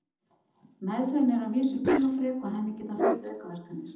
Meðferðin er að vísu tímafrek og henni geta fylgt aukaverkanir.